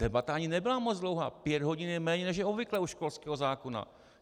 Debata ani nebyla moc dlouhá, pět hodin je méně, než je obvyklé u školského zákona.